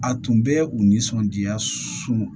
A tun bɛ u nisɔndiya so